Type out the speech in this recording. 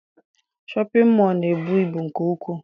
Shọpịn mọọ na-ebu ibu nke ukwu.